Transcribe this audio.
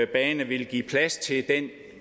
bane vil give plads til den